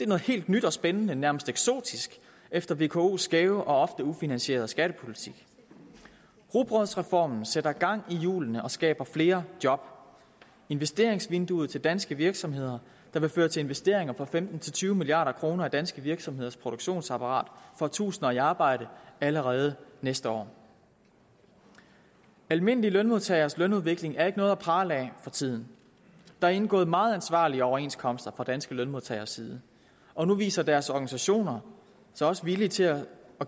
noget helt nyt og spændende nærmest eksotisk efter vkos skæve og ofte ufinansierede skattepolitik rugbrødsreformen sætter gang i hjulene og skaber flere job investeringsvinduet til danske virksomheder der vil føre til investeringer på femten til tyve milliard kroner i danske virksomheders produktionsapparat får tusinder i arbejde allerede næste år almindelige lønmodtageres lønudvikling er ikke noget at prale af for tiden der er indgået meget ansvarlige overenskomster fra danske lønmodtageres side og nu viser deres organisationer sig også villige til at